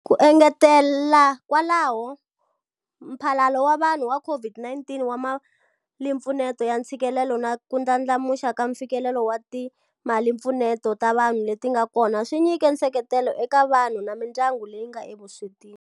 Ku engetela kwalaho, Mphalalo wa Vanhu wa COVID-19 wa Malimpfuneto ya Ntshikelelo na ku ndlandlamuxiwa ka mfikelelo wa timalimpfuneto ta vanhu leti nga kona swi nyike nseketelo eka vanhu na mindyangu leyi nga evuswetini.